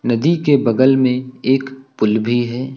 नदी के बगल में एक पुल भी है।